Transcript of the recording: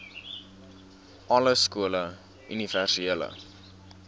alle skole universele